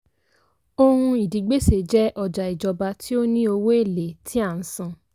ohun ìdígbèsè jẹ́ ọjà ìjọba tí ó ní owó èlé tí a ń san.